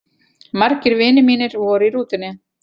Margir vinir mínir voru í rútunni.